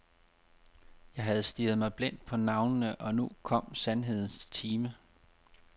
Jeg havde stirret mig blind på navnene og nu kom sandhedens time.